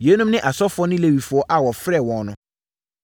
Yeinom ne asɔfoɔ ne Lewifoɔ a wɔfrɛɛ wɔn no: